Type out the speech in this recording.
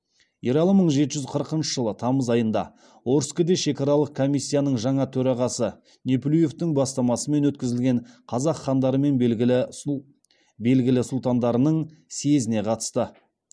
ералы мың жеті жүз қырықыншы жылы тамыз айында орскіде шекаралық комиссияның жаңа төрағасы неплюевтың бастамасымен өткізілген қазақ хандары мен белгілі сұлтандарының съезіне қатысты